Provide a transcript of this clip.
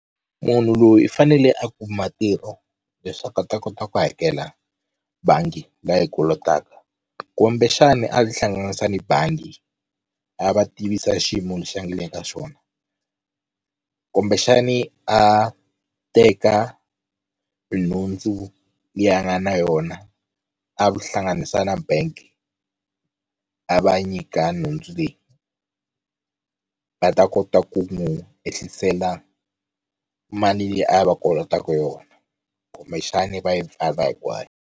Munhu loyi i fanele a kuma ntirho leswaku a ta kota ku hakela bangi la yi kolotaka kumbexani a tihlanganisa ni bangi a va tivisa xiyimo lexi a nga le ka xona kumbexani a teka nhundzu leyi a nga na yona a ku hlanganisa na bank a va nyika nhundzu leyi va ta kota ku n'wu ehlisela mali leyi a va kolotaku yona kumbexani va yi pfala hinkwayo.